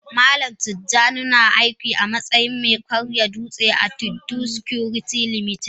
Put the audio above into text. Malam tijjani na aiki amatsayin me karya dutse a kanfanin Tiddo security limited.